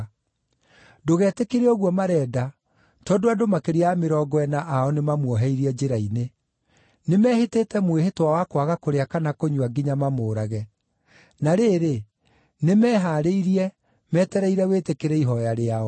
Ndũgetĩkĩre ũguo marenda, tondũ andũ makĩria ya mĩrongo ĩna ao mamuoheirie njĩra-inĩ. Nĩmehĩtĩte mwĩhĩtwa wa kwaga kũrĩa kana kũnyua nginya mamũũrage. Na rĩrĩ, nĩmehaarĩirie, metereire wĩtĩkĩre ihooya rĩao.”